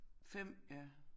5 ja